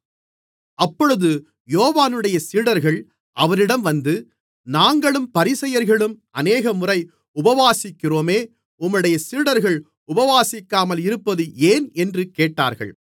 அப்பொழுது யோவானுடைய சீடர்கள் அவரிடம் வந்து நாங்களும் பரிசேயர்களும் அநேகமுறை உபவாசிக்கிறோமே உம்முடைய சீடர்கள் உபவாசிக்காமல் இருக்கிறது ஏன் என்று கேட்டார்கள்